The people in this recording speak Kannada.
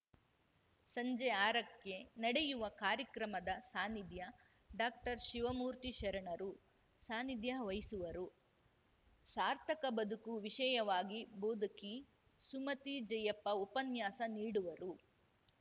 ಸಂಜೆ ಆರಕ್ಕೆ ನಡೆಯುವ ಕಾರ್ಯಕ್ರಮದ ಸಾನಿಧ್ಯ ಡಾಕ್ಟರ್ಶಿವಮೂರ್ತಿ ಶರಣರು ಸಾನಿಧ್ಯ ವಹಿಸುವರು ಸಾರ್ಥಕ ಬದುಕು ವಿಷಯವಾಗಿ ಬೋಧಕಿ ಸುಮತಿ ಜಯಪ್ಪ ಉಪನ್ಯಾಸ ನೀಡುವರು